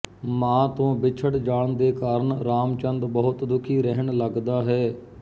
ਮਾਂ ਤੋਂ ਬਿਛੜ ਜਾਣ ਦੇ ਕਾਰਨ ਰਾਮਚੰਦ ਬਹੁਤ ਦੁੱਖੀ ਰਹਿਣ ਲੱਗਦਾ ਹੈ